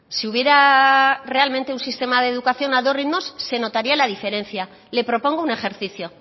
si hubiera realmente un sistema de educación a dos ritmos se notaría la diferencia le propongo un ejercicio